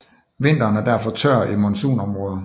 Vinteren er derfor tør i monsunområder